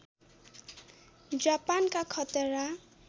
जापानका खतरा